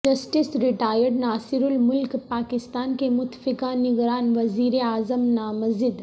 justice retired Nasir ul Mulk Pakistan کے متفقہ نگران وزیراعظم نامزد